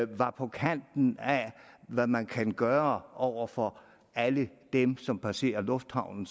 var på kanten af hvad man kan gøre over for alle dem som passerer lufthavnen